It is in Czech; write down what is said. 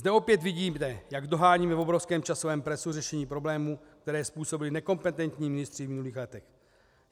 Zde opět vidíte, jak doháníme v obrovském časovém presu řešení problémů, které způsobili nekompetentní ministři v minulých letech.